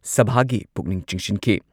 ꯁꯚꯥꯒꯤ ꯄꯨꯛꯅꯤꯡ ꯆꯤꯡꯁꯤꯟꯈꯤ꯫